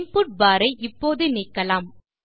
input bar ஐ இப்போது நீக்கலாம்